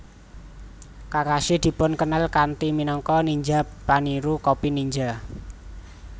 Kakashi dipun kenal kanthi minangka ninja paniru copy ninja